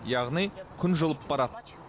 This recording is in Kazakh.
яғни күн жылып барады